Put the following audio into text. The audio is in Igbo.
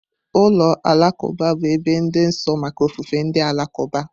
Ụlọ alakụba bụ ebe dị nsọ maka ofufe ndị Alakụba.